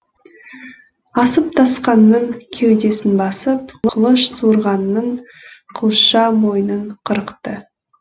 асып тасқанның кеудесін басып қылыш суырғанның қылша мойнын қырықты